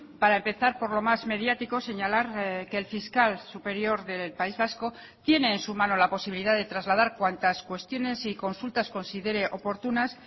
para empezar por lo más mediático señalar que el fiscal superior del país vasco tiene en su mano la posibilidad de trasladar cuantas cuestiones y consultas considere oportunas